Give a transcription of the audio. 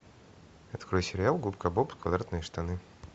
открой сериал губка боб квадратные штаны